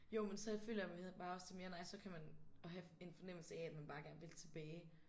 Jo men så øh føler jeg vi havde bare også det mere nej så kan man at have en fornemmelse af at man bare gerne vil tilbage